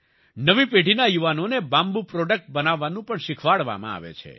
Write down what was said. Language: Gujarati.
નવી પેઢીના યુવાનોને બામ્બૂ પ્રોડક્ટ બનાવવાનું પણ શિખવાડવામાં આવે છે